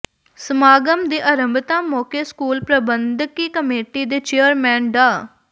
ਸਮਾਗਮ ਦੀ ਆਰੰਭਤਾ ਮੌਕੇ ਸਕੂਲ ਪ੍ਰਬੰਧਕੀ ਕਮੇਟੀ ਦੇ ਚੇਅਰਮੈਨ ਡਾ